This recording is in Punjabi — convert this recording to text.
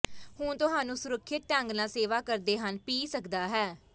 ਹੁਣ ਤੁਹਾਨੂੰ ਸੁਰੱਖਿਅਤ ਢੰਗ ਨਾਲ ਸੇਵਾ ਕਰਦੇ ਹਨ ਪੀ ਸਕਦਾ ਹੈ